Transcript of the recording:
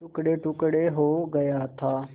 टुकड़ेटुकड़े हो गया था